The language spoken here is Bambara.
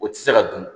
O tɛ se ka dun